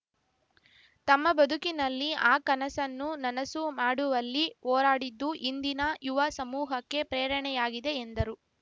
ತಮ್ಮ ಬದುಕಿನಲ್ಲಿ ಆ ಕನಸನ್ನು ನನಸು ಮಾಡುವಲ್ಲಿ ಹೋರಾಡಿದ್ದು ಇಂದಿನ ಯುವ ಸಮೂಹಕ್ಕೆ ಪ್ರೇರಣೆಯಾಗಿದೆ ಎಂದರು